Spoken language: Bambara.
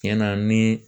Tiɲɛ na ni